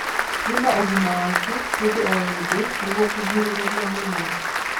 Thima ũgima waku hĩndĩ o hĩndĩ nĩguo kũgirĩrĩrĩa mĩrimũ